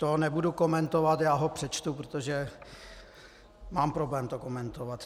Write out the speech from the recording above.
To nebudu komentovat, já ho přečtu, protože mám problém to komentovat.